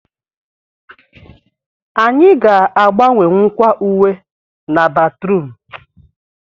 Anyị ga agbanwewukwa uwe na batrum